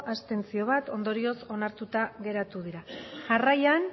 abstentzio ondorioz onartuta geratu dira jarraian